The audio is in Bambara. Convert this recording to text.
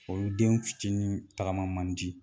Olu denw fitinin tagama man di